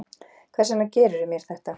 Hvers vegna gerðirðu mér þetta?